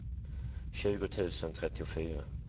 tjugo tusen trettiofyra